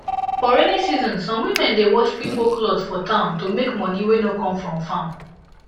for rainy season some women dey wash pipo cloth for town to make money wey no come from farm